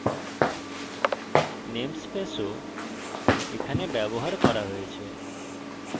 namespace ও এখানে ব্যবহার করা হয়েছে